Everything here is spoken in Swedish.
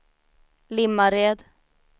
Limmared